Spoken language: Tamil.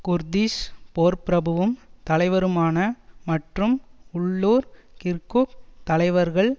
குர்திஷ் போர்ப்பிரபுவும் தலைவருமான மற்றும் உள்ளூர் கிர்குக் தலைவர்கள்